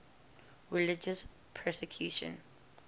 religious persecution